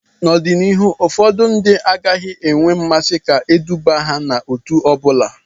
N'ọdịnihu ụfọdụ ndị agaghị enwe mmasị ka eduba ha n'òtù ọ bụla